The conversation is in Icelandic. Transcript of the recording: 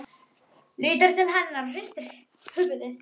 Lítur til hennar og hristir höfuðið.